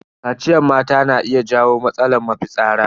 Kaciyar mata na iya jawo matsalar mafitsara.